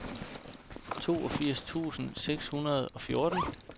toogfirs tusind seks hundrede og fjorten